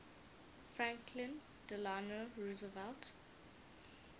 franklin delano roosevelt